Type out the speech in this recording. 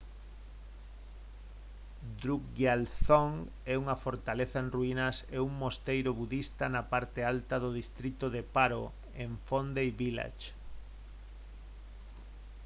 drukgyal dzong é unha fortaleza en ruínas e un mosteiro budista na parte alta do distrito de paro en phondey village